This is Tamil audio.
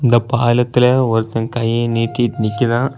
இந்த பாலத்துல ஒருத்த கை நீட்டிட்டு நிக்கிறா.